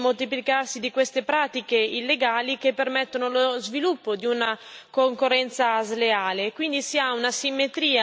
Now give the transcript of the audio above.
Però è noto a tutti il moltiplicarsi di queste pratiche illegali che permettono lo sviluppo di una concorrenza sleale.